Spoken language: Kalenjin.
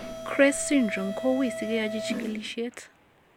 CREST syndrome ko uui sikeyochi chikilisiet